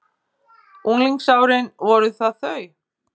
Unglingsárin voru það þau?